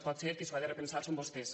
potser qui s’hi ha de repensar són vostès